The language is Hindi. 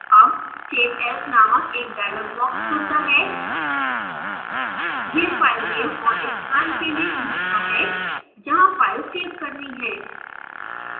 अब save as named एक dialog box खुलता है यह filename और स्थान के लिए पूछता है जहाँ फाइल सेव करनी है